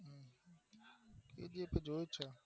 Kgf તો જોવું પડે